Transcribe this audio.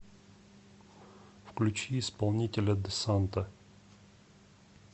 включи исполнителя де санто